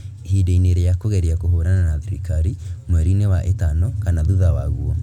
Ihinda-inĩ rĩa kũgeria kũhũrana na thirikari mweri-inĩ wa ĩtano kana thutha waguo,